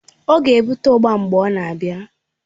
Ọ na-ebute ugba mgbe ọ na-abịa